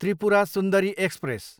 Tripura Sundari express